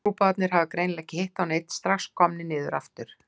Trúboðarnir hafa greinilega ekki hitt á neinn, strax komnir niður aftur.